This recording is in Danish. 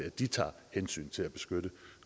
de tager hensyn til at beskytte